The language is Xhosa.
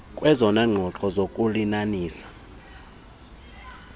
kwezona nqobo zokulinanisa